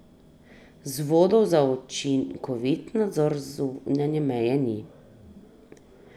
Vzvodov za učinkovit nadzor zunanje meje ni.